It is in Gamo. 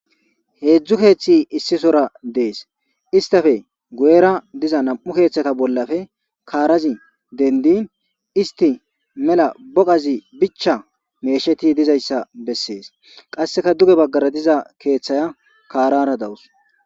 heedzdzu keeththi issisora dees istafe guyera diza nam'u keeththata bollafe kaarazi dendin isti mela boqazi bicha meesheti dizayssa bessees qasseka duge baggara diza keeththaya kaarara dawus